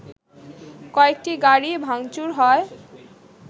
কয়েকটি গাড়ি ভাংচুর হয়